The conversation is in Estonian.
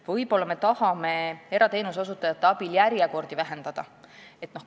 Võib-olla me tahame erateenuse osutajate abil järjekordi lühendada.